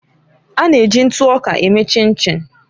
A na-eji ntụ ọka eme Chinchin.